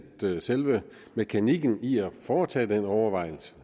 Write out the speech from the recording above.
selve mekanikken i at foretage den overvejelse